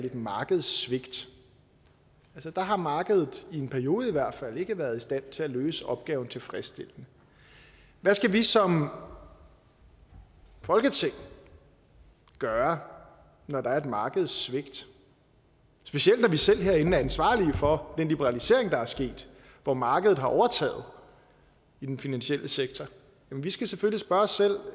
et markedssvigt altså der har markedet i en periode i hvert fald ikke været i stand til at løse opgaven tilfredsstillende hvad skal vi som folketing gøre når der er et markedssvigt specielt når vi selv herinde er ansvarlige for den liberalisering der er sket hvor markedet har overtaget i den finansielle sektor vi skal selvfølgelig spørge os selv